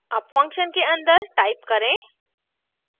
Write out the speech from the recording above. अब function के अंदर type करें